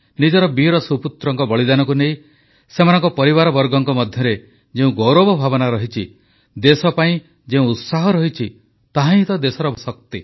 ନିଜର ବୀରସୁପୁତ୍ରଙ୍କ ବଳିଦାନକୁ ନେଇ ସେମାନଙ୍କ ପରିବାରବର୍ଗଙ୍କ ମଧ୍ୟରେ ଯେଉଁ ଗୌରବ ଭାବନା ରହିଛି ଦେଶ ପାଇଁ ଯେଉଁ ଉତ୍ସାହ ରହିଛି ତାହାହିଁ ତ ଦେଶର ଶକ୍ତି